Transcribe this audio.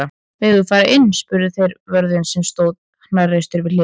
Megum við fara inn? spurðu þeir vörðinn sem stóð hnarreistur við hliðið.